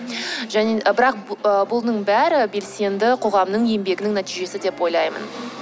бірақ ы бұның бәрі белсенді қоғамның еңбегінің нәтижесі деп ойлаймын